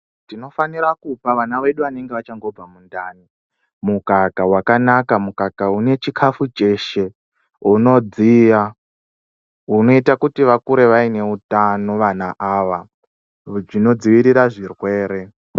Tinofanira kupa vana vedu vanenge vachangobva mundani mukaka wakanaka mukaka unechikafu cheshe unodziya unoita kuti vakure vaineutano vana ava chinodzivirira zvirwere.